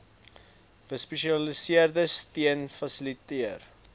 gespesialiseerde steun fasiliteer